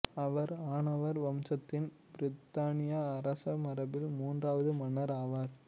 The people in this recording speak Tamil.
அவர் அனோவர் வம்சத்தின் பிரித்தானிய அரச மரபில் மூன்றாவது மன்னர் ஆவார்